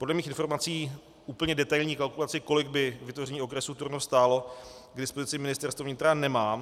Podle mých informací úplně detailní kalkulaci, kolik by vytvoření okresu Turnov stálo, k dispozici Ministerstvo vnitra nemá.